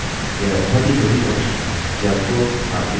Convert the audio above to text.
यह 3 पेरामीटर्स लेता है